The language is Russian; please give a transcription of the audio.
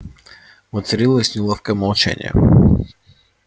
воцарилось неловкое молчание